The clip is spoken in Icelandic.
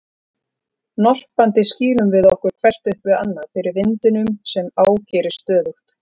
Norpandi skýlum við okkur hvert upp við annað fyrir vindinum sem ágerist stöðugt.